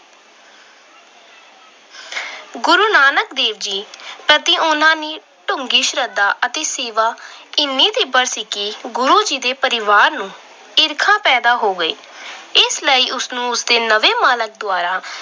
ਨਾਨਕ ਦੇਵ ਜੀ ਪ੍ਰਤੀ ਉਹਨਾਂ ਦੀ ਡੂੰਘੀ ਸ਼ਰਧਾ ਅਤੇ ਸੇਵਾ ਇੰਨੀ ਤੀਬਰ ਸੀ ਕਿ ਗੁਰੂ ਜੀ ਦੇ ਪਰਿਵਾਰ ਨੂੰ ਈਰਖਾ ਪੈਦਾ ਹੋ ਗਈ। ਇਸ ਲਈ ਉਸ ਨੂੰ ਉਸਦੇ ਨਵੇਂ ਮਾਲਕ ਦੁਆਰਾ